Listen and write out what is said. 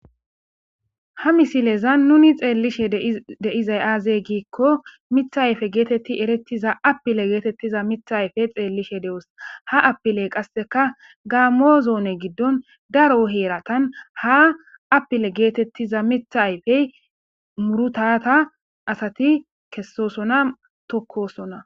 Ha missilezan nunni xelishe dei'zay azze gikko miththa ayfe gethethi errethiza appile gethethiza miththa ayffe xelishe deo'ss. Ha appile qassekka gammo zonne gidon daro herathan ha appile gethethiza Mitha ayffe muruthatha assathi kessosonna tokosona.